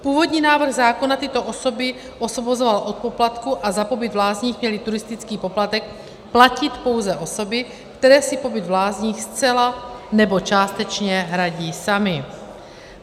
Původní návrh zákona tyto osoby osvobozoval od poplatku a za pobyt v lázních měly turistický poplatek platit pouze osoby, které si pobyt v lázních zcela nebo částečně hradí samy.